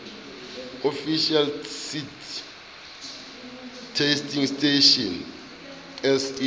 official seed testing station se